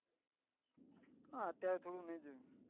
હા ત્યારે થોડું નહી જોયું